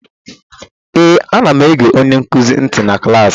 Ee, anam ege onye nkuzi ntị na klaasị